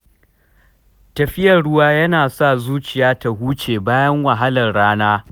Tafiya zuwa gefen ruwa yana sa zuciya ta huce bayan wahalar rana.